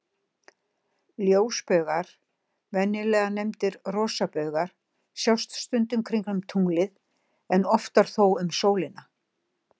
Ljósbaugar, venjulega nefndir rosabaugar, sjást stundum kringum tunglið, en oftar þó um sólina.